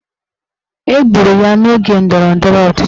Egburu ya n'oge ndọrọndọrọ ọchịchị